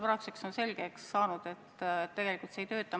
Praeguseks on selgeks saanud, et tegelikult see seadus ei tööta.